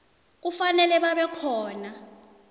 kufanele babe khona